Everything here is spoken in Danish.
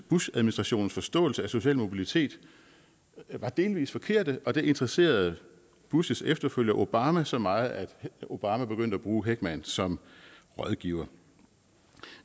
bushadministrationens forståelse af social mobilitet var delvis forkerte og det interesserede bushs efterfølger obama så meget at obama begyndte at bruge heckman som rådgiver